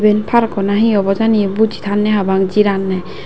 eyan parko na he obo hejani eyot boji tanney pabang jiranney.